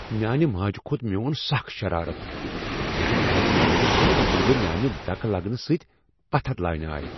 میانہِ ماجہِ كھوٚت میون سكھ شرارت ییلہِ میانہِ نانہِ ہنگہ منگہ میانہِ دكہٕ لگنہٕ سٕتۍ پتھر لاینہٕ آیہ ۔